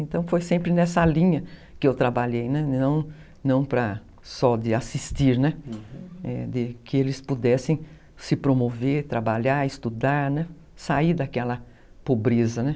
Então, foi sempre nessa linha que eu trabalhei, não não para, só de assistir, né, uhum, de que eles pudessem se promover, trabalhar, estudar, sair daquela pobreza, né.